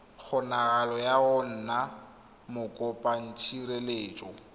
kgonagalo ya go nna mokopatshireletso